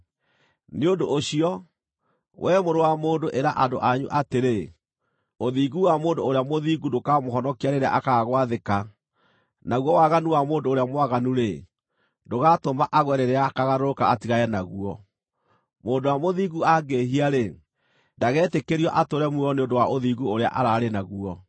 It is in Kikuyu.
“Nĩ ũndũ ũcio, wee mũrũ wa mũndũ, ĩra andũ anyu atĩrĩ, ‘Ũthingu wa mũndũ ũrĩa mũthingu ndũkamũhonokia rĩrĩa akaaga gwathĩka, naguo waganu wa mũndũ ũrĩa mwaganu-rĩ, ndũgatũma agwe rĩrĩa akaagarũrũka atigane naguo. Mũndũ ũrĩa mũthingu angĩĩhia-rĩ, ndagetĩkĩrio atũũre muoyo nĩ ũndũ wa ũthingu ũrĩa ararĩ naguo.’